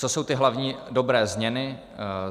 Co jsou ty hlavní dobré změny?